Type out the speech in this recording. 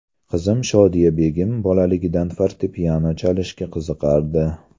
Qizim Shodiyabegim bolaligidan fortepiano chalishga qiziqardi.